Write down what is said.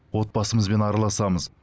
отбасымызбен араласамыз